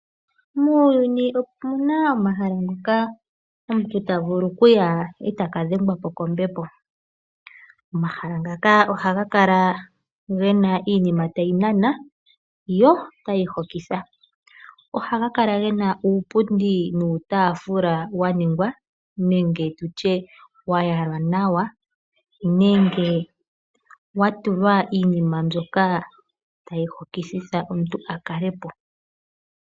Muuyuni omu na omahala ngoka omuntu ta vulu okuya eta ka dhengwa po kombepo. Omahala ngaka ohaga kala ge na iinima tayi nana yo otayi hokitha. Ohaga kala ge na uupundi nuutaafula wa yalwa nawa wo owa tulwa iinima mbyoka tayi hokwitha omuntu a kale po.